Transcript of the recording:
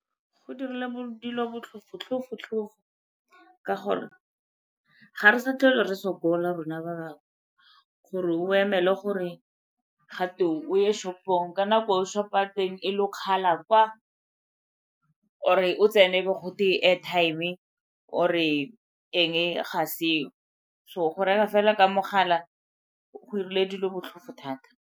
Go dirile dilo botlhofo-tlhofo-tlhofo ka gore ga re sa tlhole re sokola rona ba bangwe gore o emele gore gate o ye shop -ong, ka nako eo shop-o ya teng e lokgala kwa or-e o tsena e be gote airtime or-e eng ga seo, so go reka fela ka mogala go 'irile dilo botlhofo thata.